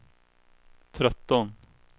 tretton